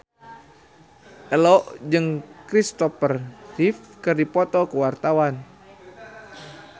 Ello jeung Kristopher Reeve keur dipoto ku wartawan